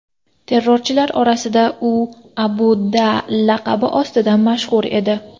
Terrorchilar orasida u Abu Da’ laqabi ostida mashhur edi.